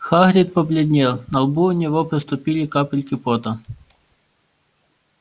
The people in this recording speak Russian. хагрид побледнел на лбу у него проступили капельки пота